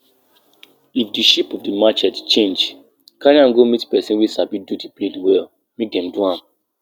no dey plant di same crop back-to-back for di soil area wey you wan use plant crop make nutrient no finish for di area